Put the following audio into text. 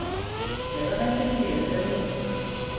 Vegalengdir hér eru miklar